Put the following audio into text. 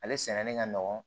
Ale sɛnɛni ka nɔgɔn